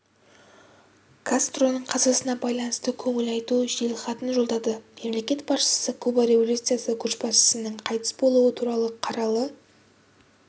кастроның қазасына байланысты көңіл айту жеделхатын жолдады мемлекет басшысы куба революциясы көшбасшысыныңқайтыс болуы туралы қаралы